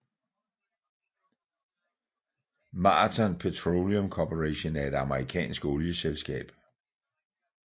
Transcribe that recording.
Marathon Petroleum Corporation er et amerikansk olieselskab